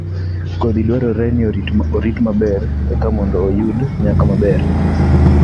Kodhi dwarore ni orit maber eka mondo oyud nyak maber